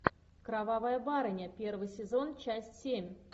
кровавая барыня первый сезон часть семь